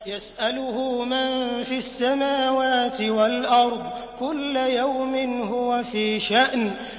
يَسْأَلُهُ مَن فِي السَّمَاوَاتِ وَالْأَرْضِ ۚ كُلَّ يَوْمٍ هُوَ فِي شَأْنٍ